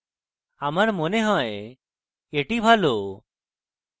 আমার মনে হয় এটি ভালো